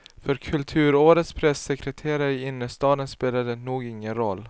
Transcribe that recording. För kulturårets pressekreterare i innerstaden spelar det nog ingen roll.